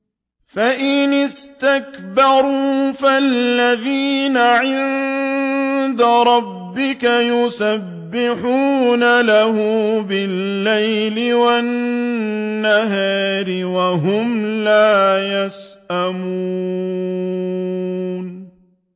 فَإِنِ اسْتَكْبَرُوا فَالَّذِينَ عِندَ رَبِّكَ يُسَبِّحُونَ لَهُ بِاللَّيْلِ وَالنَّهَارِ وَهُمْ لَا يَسْأَمُونَ ۩